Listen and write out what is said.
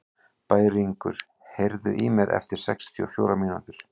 Bæringur, heyrðu í mér eftir sextíu og fjórar mínútur.